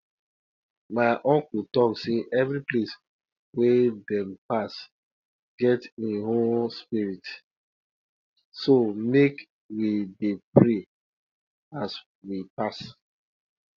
e get one story um wey dey about three crows wey three crows wey warn farmers um sey locust dey um come as dem dey dance